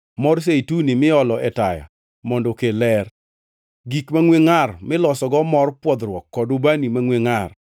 mor zeituni miolo e taya mondo okel ler, gik mangʼwe ngʼar milosogo mor pwodhruok kod ubani mangʼwe ngʼar;